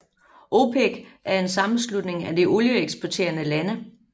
OPEC er sammenslutningen af de olieeksporterende lande